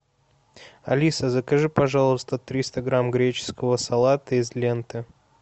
алиса закажи пожалуйста триста грамм греческого салата из ленты